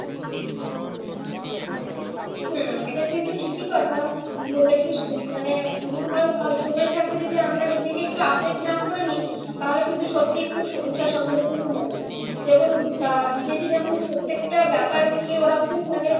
হম এটা কিন্তু ঠিকই কথা বলেছিস তুই মানে যদি ধর আহ সময় থাকতে যদি আমরা নিজেকে একটু update না করে নিই তাহলে কিন্তু সত্যি খুব সমস্যার সম্মুখীনই হবে। যেমন আহ বিদেশে যেমন প্রত্যেকটা ব্যাপারকে ওরা খুব মানে